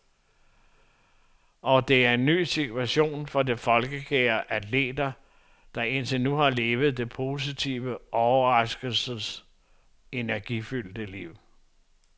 Og det er en ny situation for de folkekære atleter, der indtil nu har levet de positive overraskelsers energifyldte liv.